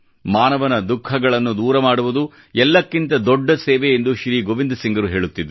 ಮಾನವನ ದುಃಖ ಗಳನ್ನೂ ದೂರಮಾಡುವುದು ಎಲ್ಲಕ್ಕಿಂತ ದೊಡ್ಡ ಸೇವೆ ಎಂದು ಶ್ರೀ ಗೋವಿಂದ ಸಿಂಗರು ಹೇಳುತ್ತಿದ್ದರು